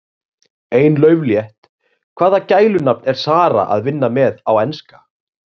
Ein lauflétt: Hvaða gælunafn er Zara að vinna með á Enska?